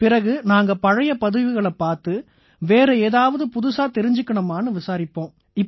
பிறகு நாங்க பழைய பதிவுகளைப் பார்த்து வேற ஏதாவது புதுசா தெரிஞ்சுக்கணுமான்னு விசாரிப்போம்